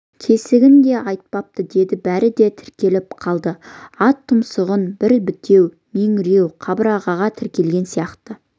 кесігін де айтпапты деді бәрі де тіреліп қалды ат тұмсығы бір бітеу меңіреу қабырғаға тірелген сияқты